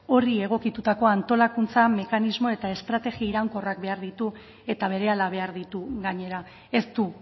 horri egokitutako antolakuntza mekanismoa eta estrategia iraunkorrak behar ditu eta berehala behar ditu gainera ez du